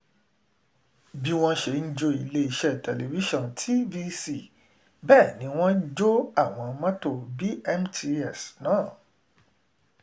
bí wọ́n ṣe ń jó iléeṣẹ́ tẹlifíṣọ̀n tvc bẹ́ẹ̀ ni wọ́n jọ àwọn mọ́tò bmts náà